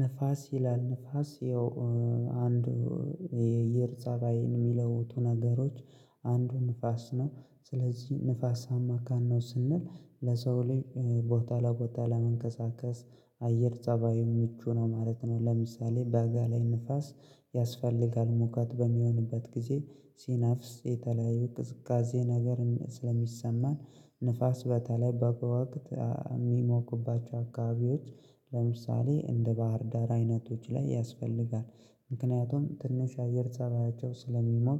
ንፋስ ይላል ንፋስ ያው አንዱ የአየር ፀባይ የሚለውቱ ነገሮች አንዱ ንፋስ ነው ስለዚህ ንፋስ አማካን ነው ስንል ለሰው ልዩ ቦታ ለቦታ ለመንቀሳቀስ አየር ፀባዩ ምቹ ነው ማለት ነው። ለምሳሌ በአጋ ላይ ንፋስ ያስፈልጋል ሙከት በሚሆንበት ጊዜ ሲናፍስ የተለያዩ ቅዝቃዜ ነገርን ስለሚሰማን ንፋስ በተለይ በጋ ወቅት የሚሞክባቸው አካባቢዎች ለምሳሌ እንደ ባህር ዳር አይነቶች ላይ ያስፈልጋል ምክንያቱም ትንሽ አየር ሰራያቸው ስለሚሞር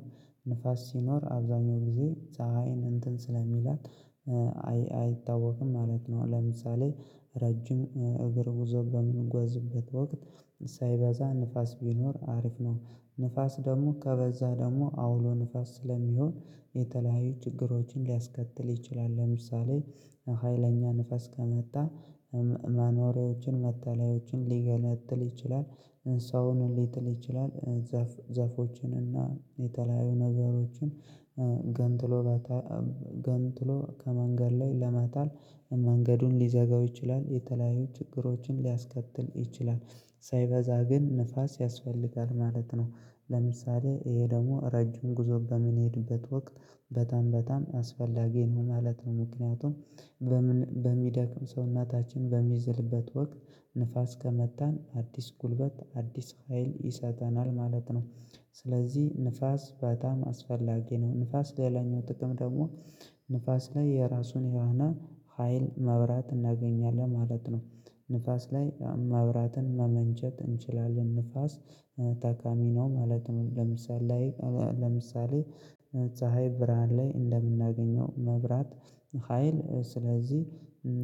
ንፋስ ሲኖር አብዛኛው ጊዜ ፀሀይን እንትን ስለሚላት አይታወቅም ማለት ነው ለምሳሌ ረጅም እግር ጉዞ በምንጓዝበት ወቅት ሳይበዛ ንፋስ ቢኖር አሪፍ ነው ንፋስ ደግሞ ከበዛ ደግሞ አውሎ ንፋስ ስለሚሆን የተለያዩ ችግሮችን ሊያስከትል ይችላል ለምሳሌ ሀይለኛ ንፈስ ከመጣ መኖሬዎችን መተላዮችን ሊገነጥል ይችላል። ሰውን ሊትል ይችላል ዛፎችን እና የተለያዩ ነገሮችን ገንትሎ ገንጥሎ ከመንገድ ላይ ለማታል መንገዱን ሊዘጋው ይችላል የተለያዩ ችግሮችን ሊያስከትል ይችላል ሳይበዛ ግን ንፋስ ያስፈልጋል ማለት ነው። ለምሳሌ ይሄ ደግሞ ረጅም ጉዞ በምንሄድበት ወቅት በታም በታም አስፈላጊ ነው። ማለት ነው ምክንያቱም በሚደክም ሰውነታችን በሚዝልበት ወቅት ንፋስ ከመታን አዲስ ጉልበት አዲስ ሀይል ይሰጠናል ማለት ነው። ስለዚህ ንፋስ በጣም አስፈላጊ ነው ንፋስ ለሌላኛው ጥቅም ደግሞ ንፋስ ላይ የራሱን የራህና ሀይል መብራት እናገኛለን ማለት ነው። ንፋስ ላይ ማብራትን ማመንጨት እንችላለን ንፋስ ታካሚ ነው ማለት ነው። ለምሳሌ ለምሳሌ ፀሀይ ብርሃን ላይ እንደምናገኘው መብራት ሀይል ስለዚህ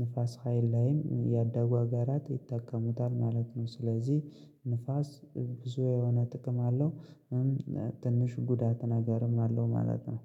ንፋስ ሀይል ላይም ያደጉ አገራት ይጠቀሙታል ማለት ነው ስለዚህ ንፋስ ብዙ የሆነ ጥቅም አለው። ትንሽ ጉዳት ነገርም አለው ማለት ነው።